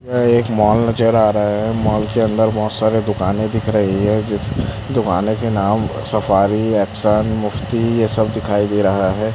यह एक मॉल नजर आ रहा है मॉल के अंदर बहुत सारे दुकानें दिख रही है जिस दुकानें के नाम सफारी एक्शन मुफ्ती यह सब दिखाई दे रहा है।